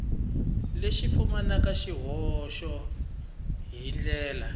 lexi pfumalaka swihoxo hi ndlela